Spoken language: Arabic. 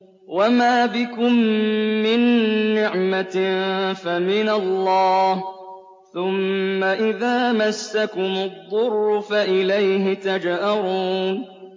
وَمَا بِكُم مِّن نِّعْمَةٍ فَمِنَ اللَّهِ ۖ ثُمَّ إِذَا مَسَّكُمُ الضُّرُّ فَإِلَيْهِ تَجْأَرُونَ